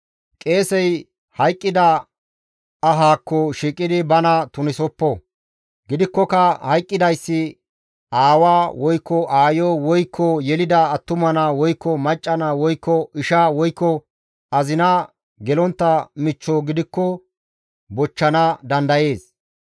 « ‹Qeesey hayqqida ahaakko shiiqidi bana tunisoppo. Gidikkoka hayqqidayssi aawa, woykko aayo, woykko yelida attuma naa, woykko macca naa, woykko isha, woykko azina gelontta michcho gidikko bochchana dandayees.